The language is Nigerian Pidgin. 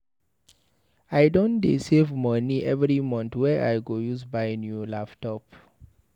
I don dey save moni every month wey I go use buy new laptop.